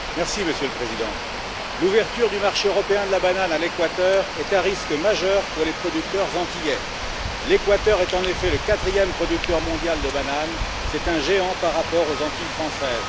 Monsieur le Président, l'ouverture du marché européen de la banane à l'Équateur est un risque majeur pour les producteurs antillais. En effet, l'Équateur est le quatrième producteur mondial de bananes c'est un géant par rapport aux Antilles françaises.